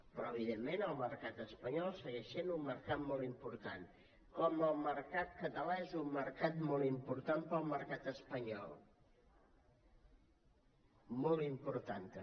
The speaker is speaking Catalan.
però evidentment el mercat espanyol segueix sent un mercat molt important com el mercat català és un mercat molt important per al mercat espanyol molt important també